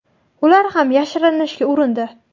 Ular ham yashirinishga urindi.